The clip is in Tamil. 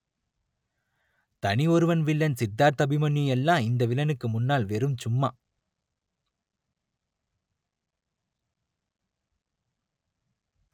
தனி ஒருவன் வில்லன் சித்தார்த் அபிமன்யு எல்லாம் இந்த வில்லனுக்கு முன்னால் வெறும் சும்மா